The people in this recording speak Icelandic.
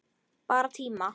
Bara tíma